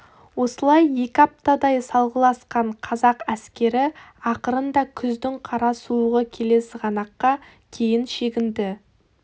осылай екі аптадай салғыласқан қазақ әскері ақырында күздің қара суығы келе сығанаққа кейін шегінді